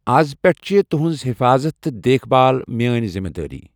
اَز پٮ۪ٹھ چھِ تُہنٛز حِفاظت تہٕ دیکھ بھال میٲنۍ ذِمہٕ دٲری۔